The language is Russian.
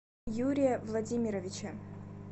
юрия владимировича